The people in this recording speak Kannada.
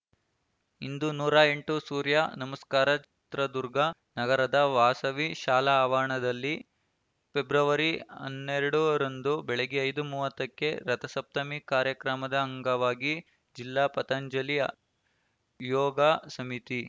ಇಂದು ನೂರ ಎಂಟು ಸೂರ್ಯ ನಮಸ್ಕಾರ ಚಿತ್ರದುರ್ಗ ನಗರದ ವಾಸವಿ ಶಾಲಾ ಆವರಣದಲ್ಲಿ ಫೆಬ್ರವರಿ ಹನ್ನೆರಡರಂದು ಬೆಳಗ್ಗೆ ಐದು ಮೂವತ್ತಕ್ಕೆ ರಥಸಪ್ತಮಿ ಕಾರ್ಯಕ್ರಮದ ಅಂಗವಾಗಿ ಜಿಲ್ಲಾ ಪತಂಜಲಿ ಯೋಗ ಸಮಿತಿ